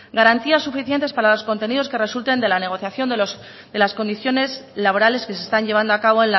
garantías suficientes para los contenidos que resulten de la negociación de las condiciones laborales que se están llevando a cabo